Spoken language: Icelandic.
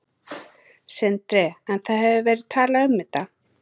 Sindri: En það hefur verið talað um þetta?